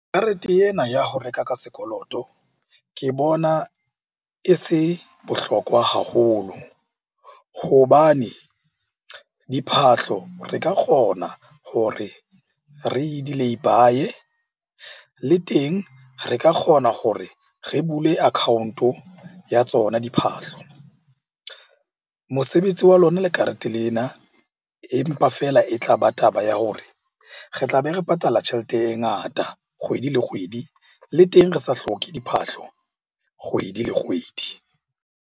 Karete ena ya ho reka ka sekoloto ke bona e se bohlokwa haholo hobane diphahlo re ka kgona hore re di-laybye. Le teng re ka kgona gore re bule account-o o ya tsona diphahlo. Mosebetsi wa lona le karete lena, empa feela e tlaba taba ya hore re tlabe re patala tjhelete e ngata kgwedi le kgwedi. Le teng re sa hloke diphahlo kgwedi le kgwedi.